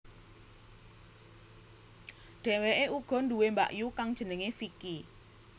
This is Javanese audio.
Dhèwèkè uga duwè mbakyu kang jenengè Vicky